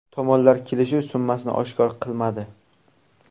Tomonlar kelishuv summasini oshkor qilmadi.